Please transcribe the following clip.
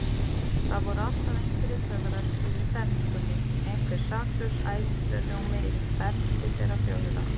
Það voru alltaf einhverjir töfrar yfir bernskunni, einhver saklaus ævintýraljómi yfir bernsku þeirra fjögurra.